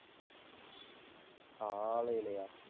காலையிலையா?